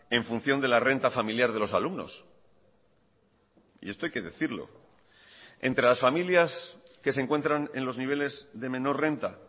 en función de la renta familiar de los alumnos y esto hay que decirlo entre las familias que se encuentran en los niveles de menor renta